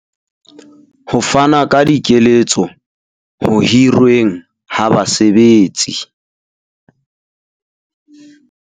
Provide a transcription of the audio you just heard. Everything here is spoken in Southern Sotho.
Ho fana ka dikeletso ho hirweng ha basebetsi.